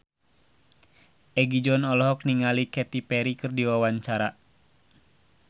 Egi John olohok ningali Katy Perry keur diwawancara